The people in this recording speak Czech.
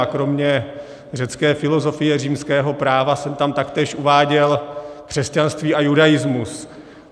A kromě řecké filozofie, římského práva jsem tam taktéž uváděl křesťanství a judaismus.